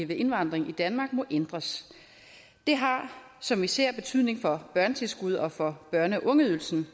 ved indvandring i danmark må ændres det har som vi ser betydning for børnetilskud og for børne og ungeydelsen